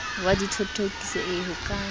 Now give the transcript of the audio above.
wa dithothokiso ee ho ka